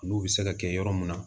N'u bɛ se ka kɛ yɔrɔ mun na